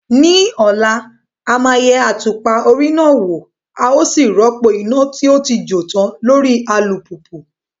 Ní ọ̀la, a máa yẹ àtùpà orí náà wò a ó sì rọ́pò iná tó ti jó tán lórí alùpùpù